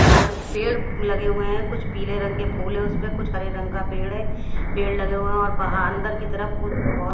इधर पेड़ लगे हुए हैं कुछ पीले रंग के फूल है उसपे कुछ हरे रंग का पेड़ है पेड़ लगे हुए हैं और बाह अंदर की तरफ कुछ बहो --